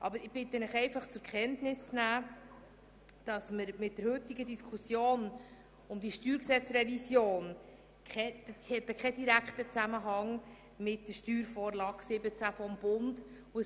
Aber ich bitte Sie einfach zur Kenntnis zu nehmen, dass die heutige Diskussion zur StGRevision keinen direkten Zusammenhang mit der Steuervorlage 2017 des Bundes hat.